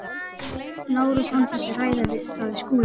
Lárus án þess að ræða það við Skúla?